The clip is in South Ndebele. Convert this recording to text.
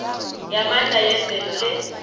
yamandla yemvelo le